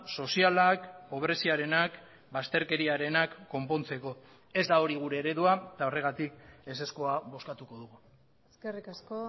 sozialak pobreziarenak bazterkeriarenak konpontzeko ez da hori gure eredua eta horregatik ezezkoa bozkatuko dugu eskerrik asko